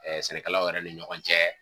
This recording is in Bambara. Ɛ sɛnɛkɛlaw yɛrɛ ni ɲɔgɔn cɛ